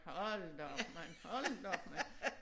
Hold da op mand hold da op mand